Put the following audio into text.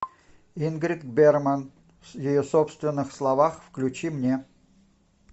ингрид бергман в ее собственных словах включи мне